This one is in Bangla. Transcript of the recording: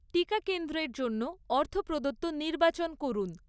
টিকা কেন্দ্রের জন্য অর্থপ্রদত্ত নির্বাচন করুন।